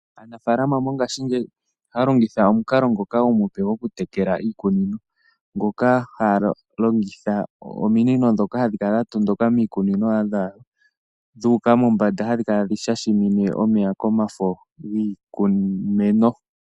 Aanafaalama mo ngaashingeyi ohaya longitha omukalo ngoka omupe goku tekela iikunino, ngoka haya longitha ominino ndhoka hadhi kala dha tondoka miikununo dhaya dhuuka mombanda, hadhi kala tadhi shashamine kombanda yiimeno.